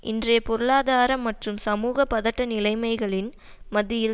இன்றைய பொருளாதார மற்றும் சமூக பதட்ட நிலைமைகளின் மத்தியில்